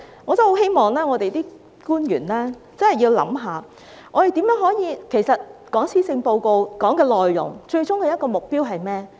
我很希望官員真的要思考一下，我們討論施政報告內容的最終目標是甚麼？